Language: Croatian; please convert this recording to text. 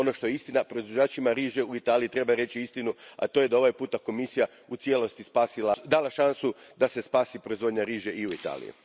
Ono što je istina, proizvođačima riže u Italiji treba reći istinu, a to je da je ovaj put Komisija u cijelosti dala šansu da se spasi proizvodnja riže i u Italiji.